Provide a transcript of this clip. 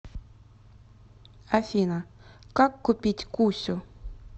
афина как купить кусю